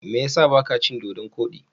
Me ya sa ba ka cin Dodon kodi?